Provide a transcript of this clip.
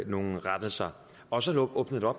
nogle rettelser og så åbner